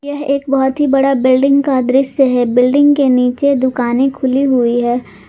यह एक बहोत ही बड़ा बिल्डिंग का दृश्य है बिल्डिंग के नीचे दुकाने खुली हुई है।